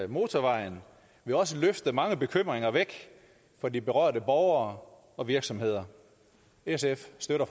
motorvejen vil også løfte mange bekymringer væk for de berørte borgere og virksomheder sf støtter